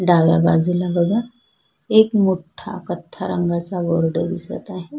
डाव्या बाजूला बघा एक मोठा रंगाचा बोर्ड दिसत आहे.